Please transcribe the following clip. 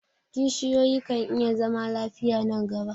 kishiyoyi kan iya zama lafiya nan gaba